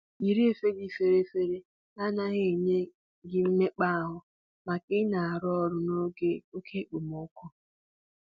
Yiri efe dị fere fere na-agaghị enye gị mmekpa ahụ mgbe ị na-arụ ọrụ n'oge oke okpomọkụ